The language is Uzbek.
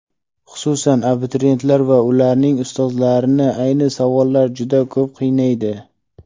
xususan abituriyentlar va ularning ustozlarini ayni savollar juda ko‘p qiynaydi:.